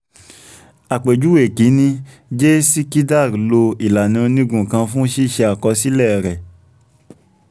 àpèjúwe kìíní j sikidar lo ìlànà onígun kan fún ṣíṣe àkọsílẹ̀ rẹ̀